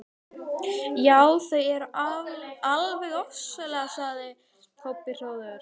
Já, þau eru alveg ofsaleg, sagði Kobbi hróðugur.